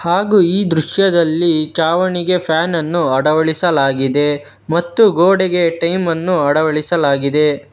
ಹಾಗೂ ಈ ದೃಶ್ಯದಲ್ಲಿ ಚಾವಣಿಗೆ ಫ್ಯಾನ್ ಅನ್ನು ಅಳವಡಿಸಲಾಗಿದೆ ಮತ್ತು ಗೋಡೆಗೆ ಟೈಮ್ ಅನ್ನು ಅಳವಡಿಸಲಾಗಿದೆ.